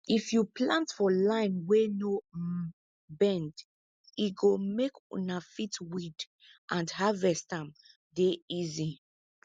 if you plant for line wey no um bend e go make una fit weed and harvest am dey easy